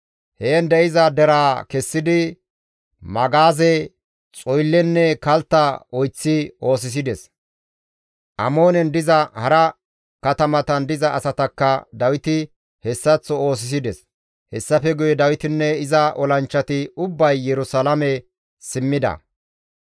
Heen de7iza deraa kessidi magaaze, xoyllenne kaltta oyththi oosisides; Amoonen diza hara katamatan diza asatakka Dawiti hessaththo oosisides; hessafe guye Dawitinne iza olanchchati ubbay Yerusalaame simmida.